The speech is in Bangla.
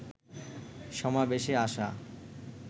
সমাবেশে আসা